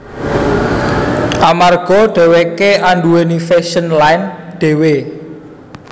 Amarga dheweké anduwèni fashion line dhewe